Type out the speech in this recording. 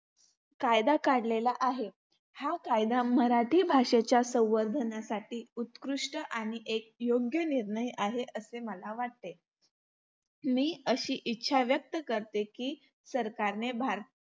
कायदा काढलेला आहे. हा कायदा मराठी भाषेच्या संवर्धनासाठी उत्कृष्ट आणि एक योग्य निर्णय आहे असे मला वाटते. मी अशी इच्छा व्यक्त करते, की सरकारने भारतातील